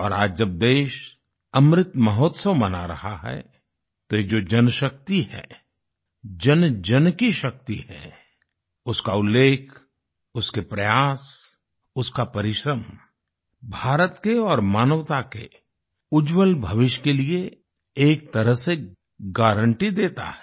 और आज जब देश अमृत महोत्सव मना रहा है तो ये जो जनशक्ति है जनजन की शक्ति है उसका उल्लेख उसके प्रयास उसका परिश्रम भारत के और मानवता के उज्जवल भविष्य के लिए एक तरह से गारंटी देता है